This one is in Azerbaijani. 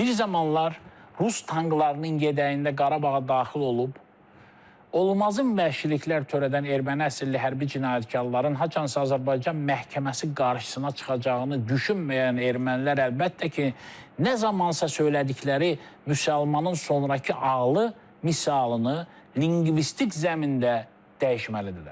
Bir zamanlar rus tanklarının yədəyində Qarabağa daxil olub olmazın vəhşiliklər törədən erməni əsilli hərbi cinayətkarların haçansa Azərbaycan məhkəməsi qarşısına çıxacağını düşünməyən ermənilər əlbəttə ki, nə zamansa söylədikləri "Müsəlmanın sonrakı ağlı" misalını linqvistik zəmində dəyişməlidirlər.